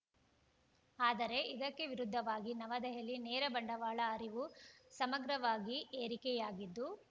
ಆದರೆ ಇದಕ್ಕೆ ವಿರುದ್ಧವಾಗಿ ನವದೆಹಲಿ ನೇರ ಬಂಡವಾಳ ಅರಿವು ಸಮಗ್ರವಾಗಿ ಏರಿಕೆಯಾಗಿದ್ದು